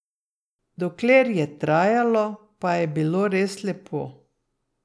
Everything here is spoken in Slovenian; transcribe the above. Dokler je trajalo, pa je bilo res lepo.